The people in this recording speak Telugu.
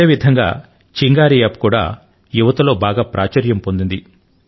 అదేవిధంగా చింగారీ యాప్ కూడా యువతలో బాగా ప్రాచుర్యం పొందింది